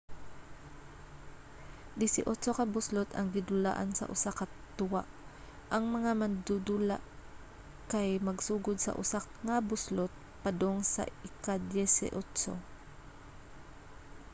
disiotso ka buslot ang gidulaan sa usa ka duwa ang mga mandudula kay magsugod sa una nga buslot padong sa ika-dyesi otso